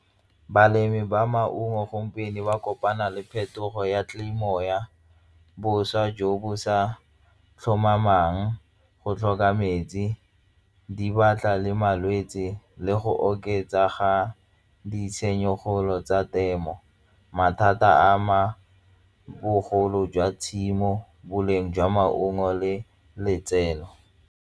Balemi ba maungo gompieno ba kopana le phetogo ya bošwa jo bo sa tlhomamang go tlhoka metsi di batla le malwetse tsi le go oketsa ga ditshenyegelo tsa temo mathata a ma bogolo jwa tshimo, boleng jwa maungo le letseno.